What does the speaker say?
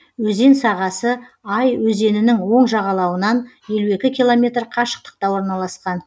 өзен сағасы ай өзенінің оң жағалауынан елу екі километр қашықтықта орналасқан